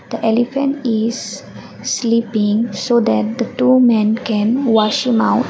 elephant is sleeping so there are two men can wash him out.